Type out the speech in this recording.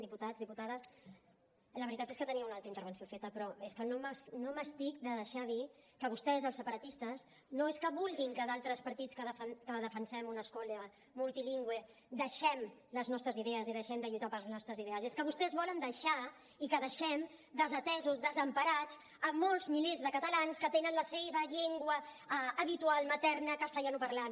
diputats diputades la veritat és que tenia una altra intervenció feta però és que no m’estic de deixar de dir que vostès els separatistes no és que vulguin que d’altres partits que defensem una escola multilingüe deixem les nostres idees i deixem de lluitar pels nostres ideals és que vostès volen deixar i que deixem desatesos desemparats molts milers de catalans que tenen la seva llengua habitual materna castellanoparlant